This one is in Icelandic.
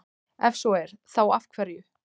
Ef svo er, þá af hverju?